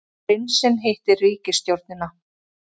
Prinsinn hittir ríkisstjórnina